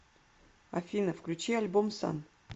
афина включи альбом сан